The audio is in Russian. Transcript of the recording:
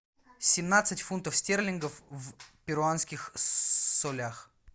семнадцать фунтов стерлингов в перуанских солях